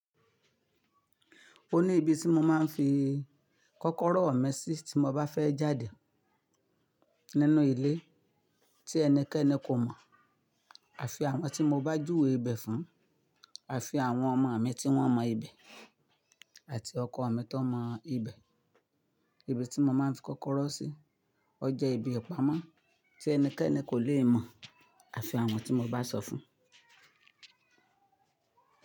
O ní ibi tí mo máa ń fi kọ́kọ́rọ́ mi sí tí mo bá fẹ́ jáde nínú ilé tí ẹnikẹ́ni kò mọ̀ àfi àwọn tí mo bá júwe ibẹ̀ fún, àfi àwọn ọmọ mi tí wọ́n mọ ibẹ̀ àti ọkọ mi tó mọ ibẹ̀. Ibi tí mo máa ń fi kọ́kọ́rọ́ sí, ó jẹ́ ibi ìpamọ́ tí ẹnikẹ́ni kò lè mọ̀ àfi àwọn tí mo bá sọ fún.